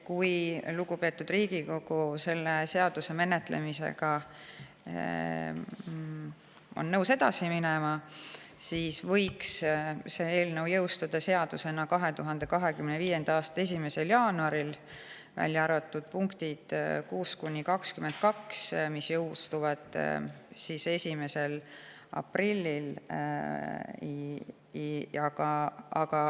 Kui lugupeetud Riigikogu on nõus selle seaduse menetlemisega edasi minema, siis võiks see eelnõu seadusena jõustuda 2025. aasta 1. jaanuaril, välja arvatud punktid 6–22, mis jõustuvad 1. aprillil.